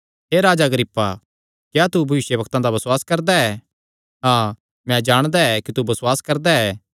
हे राजा अग्रिप्पा क्या तू भविष्यवक्तां दा बसुआस करदा ऐ हाँ मैं जाणदा ऐ कि तू बसुआस करदा ऐ